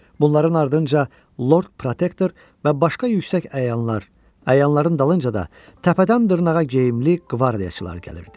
Bunların ardınca lord protektor və başqa yüksək əyanlar, əyanların dalınca da təpədən dırnağa geyimli qvardiyaçılar gəlirdi.